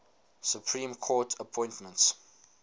supreme court appointments